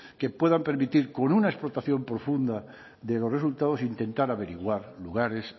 que puedan permitir con una explotación profunda de los resultados intentar averiguar lugares